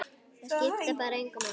Það skiptir bara engu máli.